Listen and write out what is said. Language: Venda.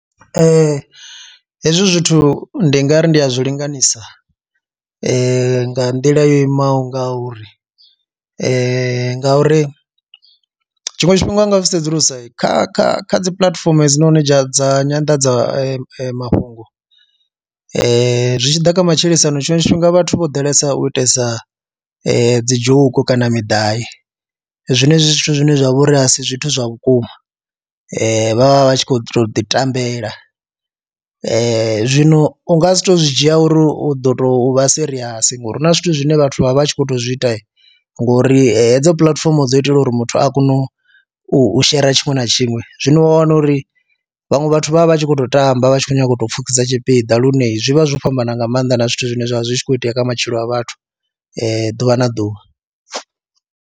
Ee, hezwi zwithu ndi nga ri ndi a zwi linganisa nga nḓila yo imaho nga uri ngauri tshiṅwe tshifhinga u nga zwi sedzulusa kha kha kha dzi puḽatifomo hedzinoni dza dza nyanḓadzamafhungo zwi tshi ḓa kha matshilisano tshiṅwe tshifhinga vhathu vho ḓalesa u itesa dzi joke kana midavhi zwenezwi zwithu zwine zwa vho ri a si zwithu zwa vhukuma vha vha vha tshi khou tou ḓi tambela. Zwino u nga si tou zwi dzhia uri u ḓo tou vha serious ngori hu na zwithu zwine vhathu vha vha vha a tshi khou tou zwi ita ngori hedzo puḽatifomo dzo itela uri muthu a kone u u shera tshiṅwe na tshiṅwe, zwino wa wana uri vhaṅwe vhathu vha vha vha tshi khou tou tamba vha tshi khou nyanga u tou pfhukisa tshipiḓa lune zwi vha zwo fhambana nga maanḓa na zwithu zwine zwa vha zwi tshi khou itea kha matshilo a vhathu ḓuvha na ḓuvha.